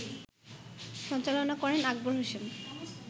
সঞ্চালনা করেন আকবর হোসেন